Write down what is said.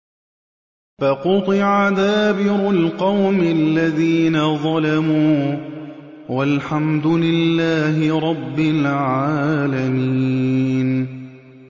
فَقُطِعَ دَابِرُ الْقَوْمِ الَّذِينَ ظَلَمُوا ۚ وَالْحَمْدُ لِلَّهِ رَبِّ الْعَالَمِينَ